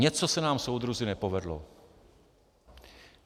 Něco se nám, soudruzi, nepovedlo.